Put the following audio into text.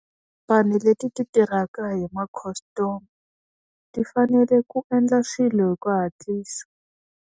Vanhu leti ti tirhaka hi makhastama, ti fanele ku endla swilo hi ku hatlisa.